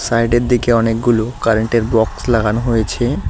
সাইডের দিকে অনেকগুলো কারেন্টের বক্স লাগানো হয়েছে।